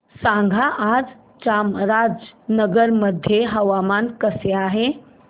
सांगा आज चामराजनगर मध्ये हवामान कसे आहे